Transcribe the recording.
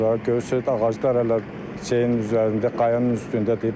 Görürsüz ağaclar hələ çayın üzərində, qayanın üstündədir.